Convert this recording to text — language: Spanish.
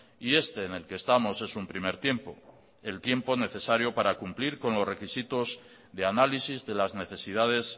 y este en el que estamos es un primer tiempo el tiempo necesario para cumplir con los requisitos de análisis de las necesidades